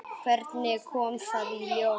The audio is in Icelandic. Hvernig kom það í ljós?